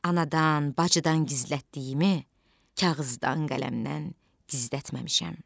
Anadan, bacıdan gizlətdiyimi kağızdan, qələmdən gizlətməmişəm.